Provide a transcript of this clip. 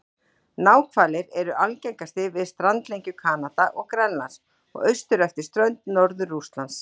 Náhvalir eru algengastir við strandlengjur Kanada og Grænlands og austur eftir strönd Norður-Rússlands.